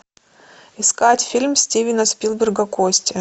искать фильм стивена спилберга кости